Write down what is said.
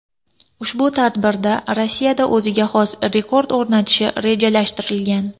Ushbu tadbirda Rossiyada o‘ziga xos rekord o‘rnatishi rejalashtirilgan.